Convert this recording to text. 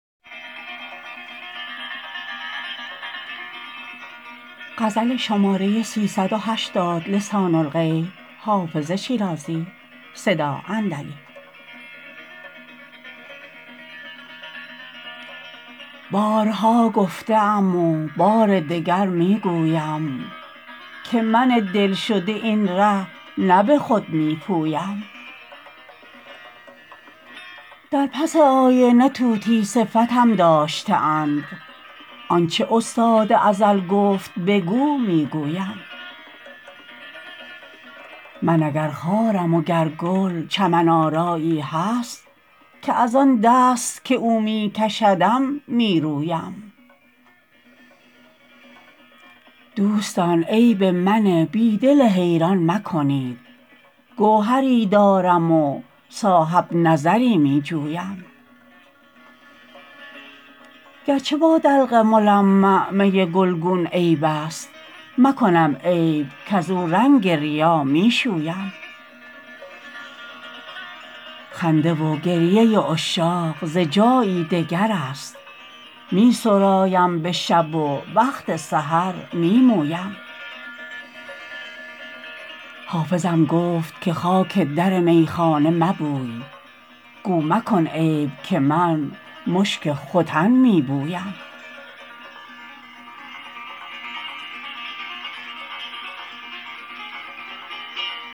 بارها گفته ام و بار دگر می گویم که من دل شده این ره نه به خود می پویم در پس آینه طوطی صفتم داشته اند آن چه استاد ازل گفت بگو می گویم من اگر خارم و گر گل چمن آرایی هست که از آن دست که او می کشدم می رویم دوستان عیب من بی دل حیران مکنید گوهری دارم و صاحب نظری می جویم گر چه با دلق ملمع می گلگون عیب است مکنم عیب کزو رنگ ریا می شویم خنده و گریه عشاق ز جایی دگر است می سرایم به شب و وقت سحر می مویم حافظم گفت که خاک در میخانه مبوی گو مکن عیب که من مشک ختن می بویم